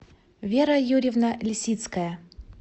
вера юрьевна лисицкая